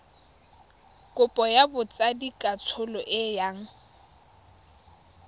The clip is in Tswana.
kopo ya botsadikatsholo e yang